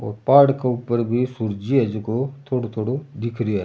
और पहाड़ के ऊपर भी सूरजीयो है जिको थोड़ा थोड़ा दिख रो है।